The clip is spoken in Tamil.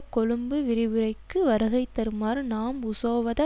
கொழும்பு விரிவுரைக்கு வருகைதருமாறு நாம் உசோவத